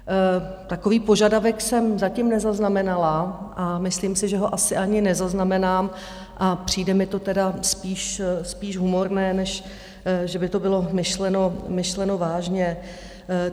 Takový požadavek jsem zatím nezaznamenala a myslím si, že ho asi ani nezaznamenám, a přijde mi to tedy spíš humorné, než že by to bylo myšleno vážně.